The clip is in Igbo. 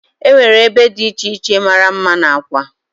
Enwere ebe dị iche iche mara mma n'Awka.